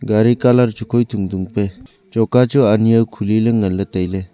gari colour chu khoi tung tung pe choka ani jaw khule ley ngan ley.